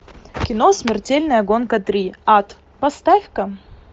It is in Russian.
кино смертельная гонка три ад поставь ка